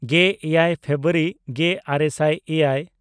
ᱜᱮᱼᱮᱭᱟᱭ February ᱜᱮᱼᱟᱨᱮ ᱥᱟᱭ ᱮᱭᱟᱭ